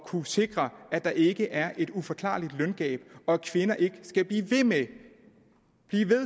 kunne sikre at der ikke er et uforklarligt løngab og at kvinder ikke skal blive ved med